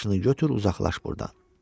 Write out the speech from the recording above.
Başını götür, uzaqlaş burdan.